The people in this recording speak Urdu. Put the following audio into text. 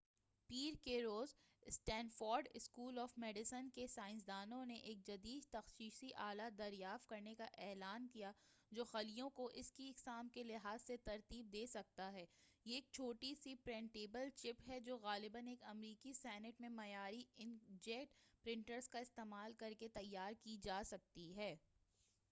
پیر کے روز سٹینفورڈ اسکول آف میڈیسن کے سائنسدانوں نے ایک جدید تشخیصی آلہ دریافت کرنے کا اعلان کیا ہے جو خلیوں کو اس کی اقسام کے لحاظ سے ترتیب دے سکتا ہے یہ ایک چھوٹی سی پرنٹیبل چپ ہے جو غالباً ایک امریکی سنٹ میں معیاری انک جیٹ پرنٹرز کا استعمال کر کے تیار کی جا سکتی ہے